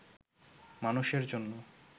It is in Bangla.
মানুষের জন‍্য